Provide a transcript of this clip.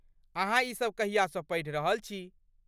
अहाँ ई सब कहियासँ पढ़ि रहल छी?